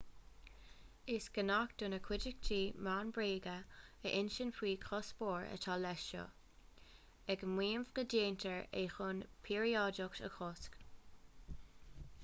is gnách do na cuideachtaí meán bréaga a insint faoin gcuspóir atá leis seo ag maíomh go ndéantar é chun píoráideacht a chosc